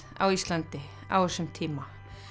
á Íslandi á þessum tíma